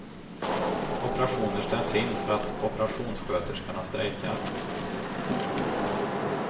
Operationer ställs in för att operationssköterskorna strejkar.